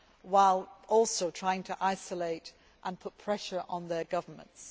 them while also trying to isolate and put pressure on their governments.